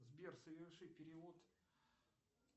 сбер соверши перевод